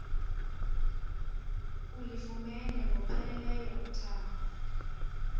ulufumene ngokupheleleyo uthando